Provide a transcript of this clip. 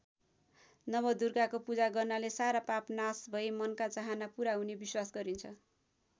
नवदुर्गाको पूजा गर्नाले सारा पाप नाश भै मनका चाहना पूरा हुने विश्वास गरिन्छ।